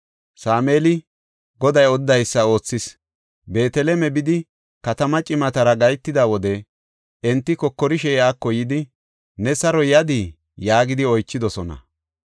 Sameeli Goday odidaysa oothis; Beeteleme bidi katamaa cimatara gahetida wode enti kokorishe iyako yidi, “Ne saro yadii?” yaagidi oychidosona.